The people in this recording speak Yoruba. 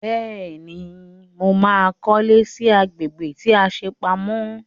Bẹ́ẹ̀ni, mo ma kọ́lé sí agbègbè tí a ṣe pamọ́